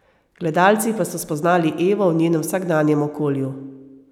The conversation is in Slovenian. Gledalci pa so spoznali Evo v njenem vsakdanjem okolju.